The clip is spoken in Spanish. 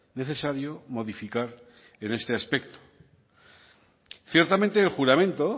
necesario modificar en este aspecto ciertamente el juramento